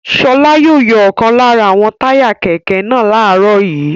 Ṣọlá yóò yọ ọ̀kan lára àwọn táyà kẹ̀kẹ́ náà láàárọ̀ yìí.